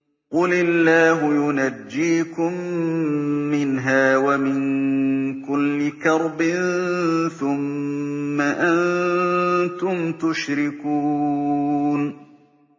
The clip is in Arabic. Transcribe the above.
قُلِ اللَّهُ يُنَجِّيكُم مِّنْهَا وَمِن كُلِّ كَرْبٍ ثُمَّ أَنتُمْ تُشْرِكُونَ